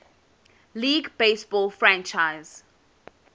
league baseball franchise